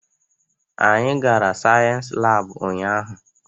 Anyị gara sayensị laabu ụnyaahụ.